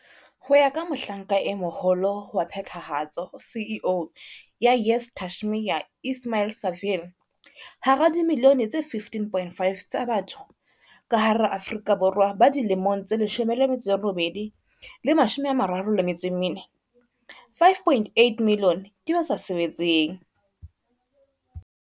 Ho ya ka Mohlanka e moholo wa Phethahatso CEO ya YES Tashmia Ismail-Saville, hara dimilione tse 15.5 tsa batho ka hara Aforika Borwa ba dilemong tse 18 le 34, 5.8 milione ke ba sa sebetseng.